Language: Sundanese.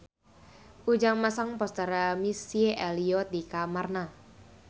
Ujang masang poster Missy Elliott di kamarna